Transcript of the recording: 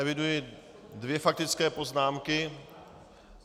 Eviduji dvě faktické poznámky.